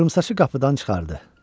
Qıvrımsaçı qapıdan çıxardı.